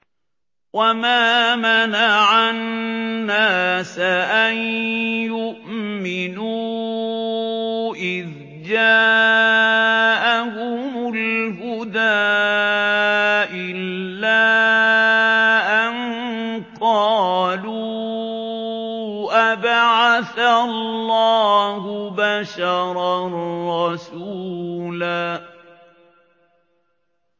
وَمَا مَنَعَ النَّاسَ أَن يُؤْمِنُوا إِذْ جَاءَهُمُ الْهُدَىٰ إِلَّا أَن قَالُوا أَبَعَثَ اللَّهُ بَشَرًا رَّسُولًا